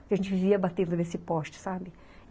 Porque a gente vivia batendo nesse poste, sabe?